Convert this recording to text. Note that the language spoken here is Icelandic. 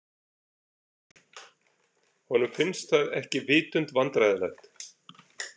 Honum finnst það ekki vitund vandræðalegt.